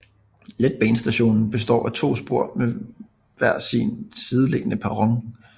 Letbanestationen består af to spor med hver sin sideliggende perron